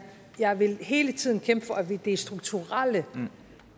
jeg vil hele tiden kæmpe for at det er strukturelle